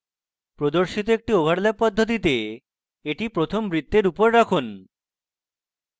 প্রদর্শিত একটি overlapping পদ্ধতিতে এটি প্রথম বৃত্তের উপরে রাখুন